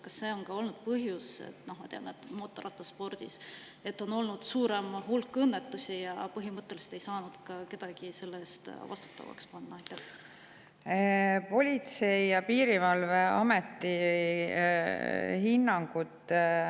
Kas see on ka olnud põhjus, et mootorrattaspordis on olnud suur hulk õnnetusi ja nende puhul põhimõtteliselt ei ole saadud ka kedagi vastutavaks panna?